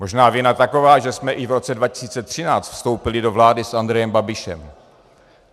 Možná vina taková, že jsme i v roce 2013 vstoupili do vlády s Andrejem Babišem.